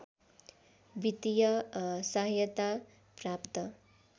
वित्तीय सहायता प्राप्त